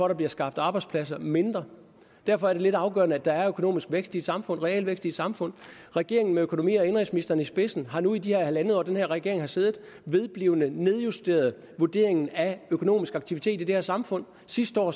der bliver skabt arbejdspladser mindre derfor er det lidt afgørende at der er økonomisk vækst i et samfund realvækst i et samfund regeringen med økonomi og indenrigsministeren i spidsen har nu i de her halvandet år den her regering har siddet vedblivende nedjusteret vurderingen af økonomisk aktivitet i det her samfund sidste år